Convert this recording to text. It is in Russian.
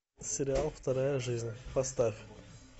сериал вторая жизнь поставь